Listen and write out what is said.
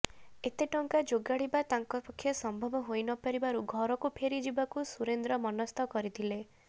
ଏତେ ଟଙ୍କା ଯୋଗାଡିବା ତାଙ୍କ ପକ୍ଷେ ସମ୍ଭବ ହୋଇ ନପାରିବାରୁ ଘରକୁ ଫେରି ଯିବାକୁ ସୁରେନ୍ଦ୍ର ମନସ୍ଥ କରିଥିଲେ